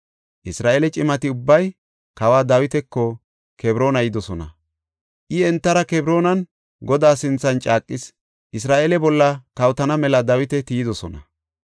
Isra7eele cimati ubbay kawa Dawitako Kebroona yidosona; I entara Kebroonan Godaa sinthan caaqis; Isra7eele bolla kawotana mela Dawita tiyidosona.